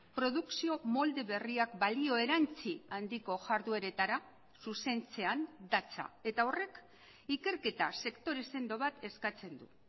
produkzio molde berriak balio erantzi handiko jardueretara zuzentzean datza eta horrek ikerketa sektore sendo bat eskatzen du